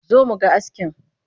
Zo mu ga askin!